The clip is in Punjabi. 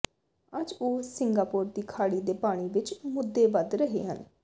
ਅੱਜ ਉਹ ਸਿੰਗਾਪੋਰ ਦੀ ਖਾੜੀ ਦੇ ਪਾਣੀ ਵਿਚ ਮੁੱਦੇ ਵਧ ਰਹੇ ਹਨ